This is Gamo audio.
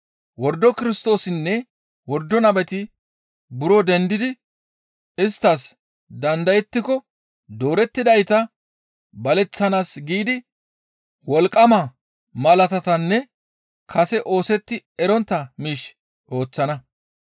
Wordo Kirstoosinne wordo nabeti buro dendidi isttas dandayettiko doorettidayta baleththanaas giidi wolqqama malaatatanne kase oosetti erontta miish ooththana.